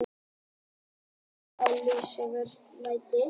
Af hverju eru loftsteinar verðmætir?